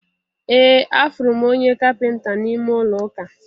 Ee, afụrụ m onye kapịnta n'ime ụlọ ụka